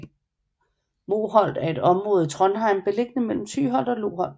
Moholt er et område i Trondheim beliggende mellem Tyholt og Loholt